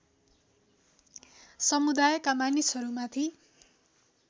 समुदायका मानिसहरू माथि